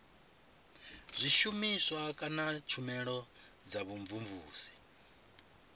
zwishumiswa kana tshumelo dza vhumvumvusi